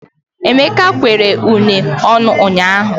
Emeka kwere une ọnụ ụnyaahụ.